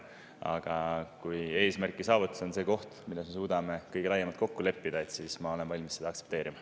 Aga kui eesmärgi saavutamiseks on see see koht, kus me suudame kõige laiemalt kokku leppida, siis ma olen valmis seda aktsepteerima.